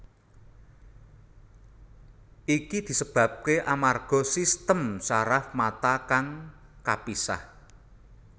Iki disebabaké amarga sistem syaraf mata kang kapisah